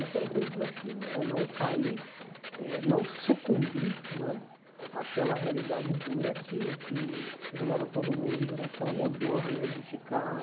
Esse era o grande desafio, era não cair, eh não sucumbir né àquela realidade dura que que jogava todo mundo naquela né de ficar